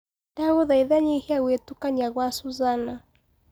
ndagũthaĩtha nyĩhĩa gwĩtũkanĩa gwa suzzana